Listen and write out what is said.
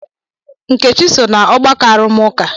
Nkechi so na ọgbakọ arụmụka.